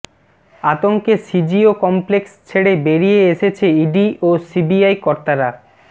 আতঙ্কে CGO complex ছেড়ে বেরিয়ে এসেছে ইডি ও সিবিআই কর্তারা